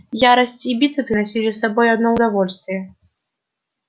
ярость и битвы приносили с собой одно удовольствие